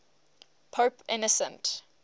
pope innocent